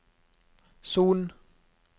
Son